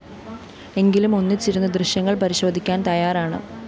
എങ്കിലും ഒന്നിച്ചിരുന്നു ദൃശ്യങ്ങള്‍ പരിശോധിക്കാന്‍ തയ്യാറാണ്